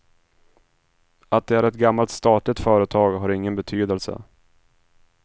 Att det är ett gammalt statligt företag har ingen betydelse.